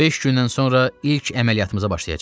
Beş gündən sonra ilk əməliyyatımıza başlayacağıq.